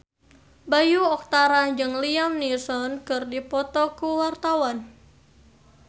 Bayu Octara jeung Liam Neeson keur dipoto ku wartawan